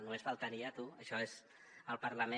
només faltaria tu això és el parlament